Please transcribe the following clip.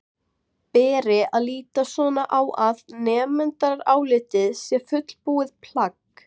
Beri að líta svo á að nefndarálitið sé fullbúið plagg?